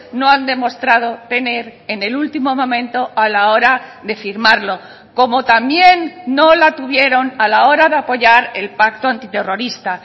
no han demostrado tener en el último momento a la hora de firmarlo como también no la tuvieron a la hora de apoyar el pacto antiterrorista